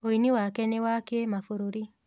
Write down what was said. ũini wake nĩ wa kĩmabũrũri.